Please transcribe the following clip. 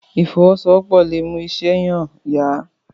ìfowosowopo lọ mú iṣé yen yá.